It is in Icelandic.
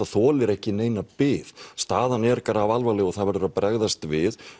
þolir ekki neina bið staðan er grafalvarleg og það verður að bregðast við